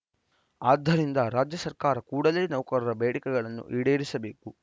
ಆದ್ದರಿಂದ ರಾಜ್ಯ ಸರ್ಕಾರ ಕೂಡಲೇ ನೌಕರರ ಬೇಡಿಕೆಗಳನ್ನು ಈಡೇರಿಸಬೇಕು